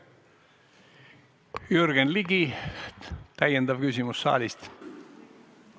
Jürgen Ligilt täiendav küsimus saalist!